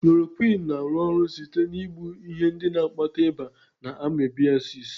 Klorokwịnụ na-arụ ọrụ site na igbu ihe ndị na-akpata ịba na amebịasịs.